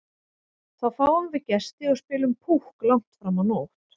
Þá fáum við gesti og spilum Púkk langt fram á nótt.